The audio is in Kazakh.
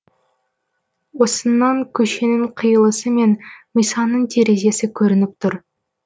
осыннан көшенің қиылысы мен мисаның терезесі көрініп тұр